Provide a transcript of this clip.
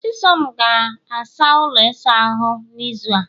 chisom ga-asa ụlọ ịsa ahụ n'izu a